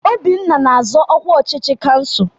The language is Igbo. Obinna na-azọ ọkwa ọchịchị kansụl.